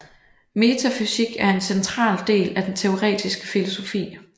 Metafysik er en central del af den teoretiske filosofi